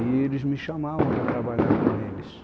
E eles me chamavam para trabalhar com eles.